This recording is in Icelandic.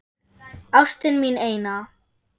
Ástin mín eina.